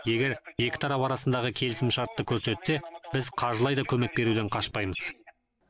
егер екі тарап арасындағы келісімшартты көрсетсе біз қаржылай да көмек беруден қашпаймыз